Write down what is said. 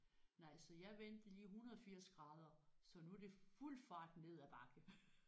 Nej så jeg vendte lige 180 grader så nu er det fuld fart ned ad bakke